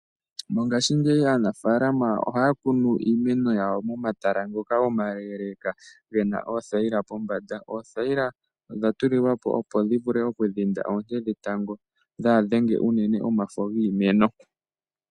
Mongashingeyi aanafalama ohaya kunu iimeno yawo momatala ngoka omaleleka gena oothayila pombanda. Oothayila odha tulwapo, opo dhi dhinde oonte dhetango kadhi dhenge shinene omafo giimeno.